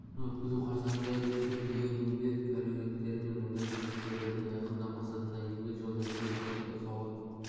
форумын өткізу қарсаңында үздік еңбек әулеттері мен өндіріс жұмыскерлерін айқындау мақсатында еңбек жолы республикалық байқауы